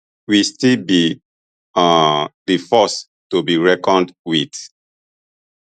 we still be um di force to be reckoned wit